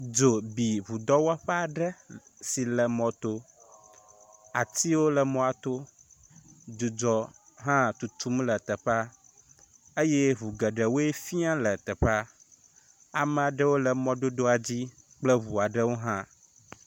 Dzo bi ŋudɔwɔ ƒe aɖe si le mɔ to, atiwo le mɔa to, dzudzɔ hã tutum le teƒe, eye ŋu geɖewoe fia le teƒea, ame aɖewo le mododoa dzi kple ŋua ɖe wo hã